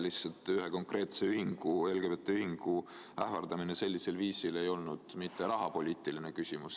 Lihtsalt, ühe konkreetse ühingu, LGBT Ühingu ähvardamine sellisel viisil ei olnud rahapoliitiline küsimus.